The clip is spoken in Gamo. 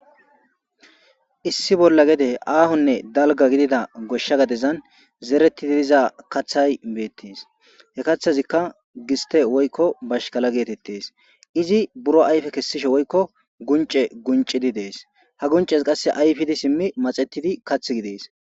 issi bolla gede aahonne dalga gidida goshsha gadezan zeretidi diza kathay beettes he kathazikka giste woykko bashkala geetettes izi buro ayfe kessishe woykko gunce guncidi dees ha gunces qasse ayfidi simmi maxetidi kath gidees